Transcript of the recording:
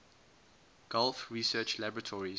gulf research laboratories